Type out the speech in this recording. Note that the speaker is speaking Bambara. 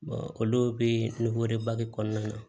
olu bɛ kɔnɔna na